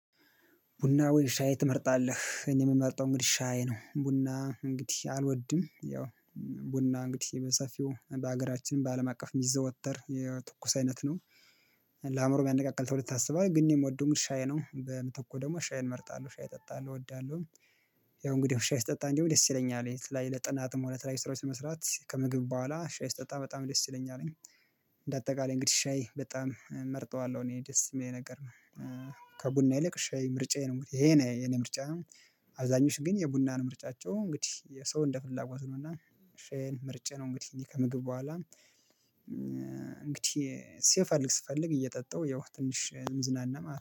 ቡና ወይ ሻይ ትመርጣለህ? እኔ የምመርጠው እንግዲህ ሻይ ነው። ቡና እንግዲህ አልወድም። ያው ቡና እንግዲህ በሰፊው በሀገራችን በአለም አቀፍ የሚዘወተር የትኩስ አይነት ነው ለአእምሮም ያነቃቃል ተብሎ ይታሰባል። ግን እኔ የምወደውም ሻይ ነው። በምትኩ ደግሞ ሻይን እመርጣለሁ። ሻይ እጠጣለሁ። እወዳለሁኝ። ያው እንግዲህ ሻይ ስጠጣ እንዲሁ ደስ ይለኛል። የተለያዩ ለጥናትም ሆነ የተለያዩ ስራዎች ለመስራት ከምግብ በኋላ ሻይ ስጠጣ በጣም ደስ ይለኛል። አጠቃላይ እንግዲህ ሻይ በጣም እመርጠዋለሁ እኔ ደስ የሚለኝ ነገር ነው። ከቡና ይልቅ ሻይ ምርጫዬ ነው። እንግዲህ ይሄ ነው የኔ ምርጫ አብዛኞች ግን የቡና ነው ምርጫቸው። እንግዲህ የሰው እንደ ፍላጎቱ ነውና ሻይን መርጬ ነው እንግዲህ እኔ ከምግብ በኋላ እንግዲህ ስፈልግ ስፈልግ እየጠጣሁ ያው ትንሽ የምዝናናው ማለት ነው።